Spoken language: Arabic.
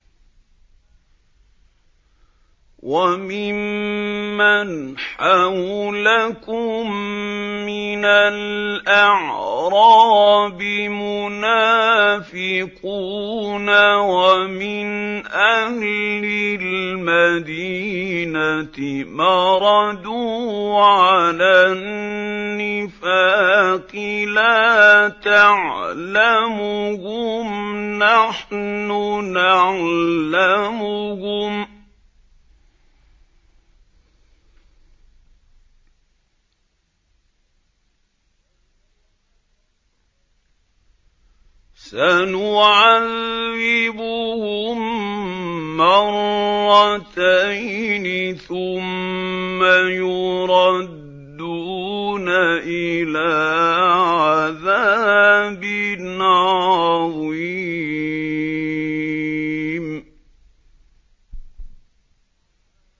وَمِمَّنْ حَوْلَكُم مِّنَ الْأَعْرَابِ مُنَافِقُونَ ۖ وَمِنْ أَهْلِ الْمَدِينَةِ ۖ مَرَدُوا عَلَى النِّفَاقِ لَا تَعْلَمُهُمْ ۖ نَحْنُ نَعْلَمُهُمْ ۚ سَنُعَذِّبُهُم مَّرَّتَيْنِ ثُمَّ يُرَدُّونَ إِلَىٰ عَذَابٍ عَظِيمٍ